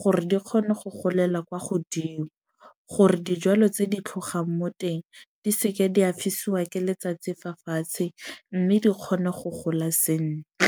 gore di kgone go golela kwa godimo. Gore dijwalo tse di ka tlhogang mo teng di seke di a fisiwa ke letsatsi fa fatshe. Mme di kgone go gola sentle.